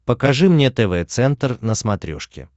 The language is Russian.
покажи мне тв центр на смотрешке